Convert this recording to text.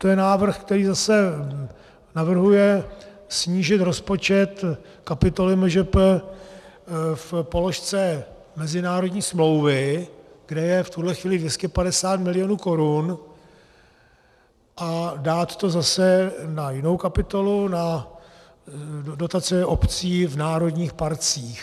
To je návrh, který zase navrhuje snížit rozpočet kapitoly MŽP v položce mezinárodní smlouvy, kde je v tuhle chvíli 250 mil. korun, a dát to zase na jinou kapitolu, na dotace obcí v národních parcích.